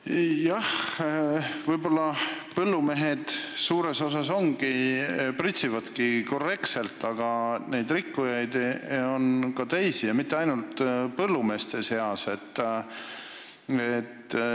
Jah, võib-olla põllumehed suures osas pritsivadki korrektselt, aga rikkujaid on ka teisi, mitte ainult põllumeeste seas.